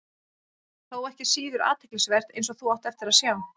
Þó ekki síður athyglisvert, eins og þú átt eftir að sjá.